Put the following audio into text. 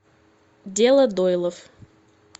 дело дойлов